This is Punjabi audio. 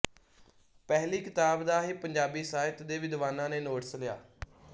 ਪਹਿਲੀ ਕਿਤਾਬ ਦਾ ਹੀ ਪੰਜਾਬੀ ਸਾਹਿਤ ਦੇ ਵਿਦਵਾਨਾਂ ਨੇ ਨੋਟਿਸ ਲਿਆ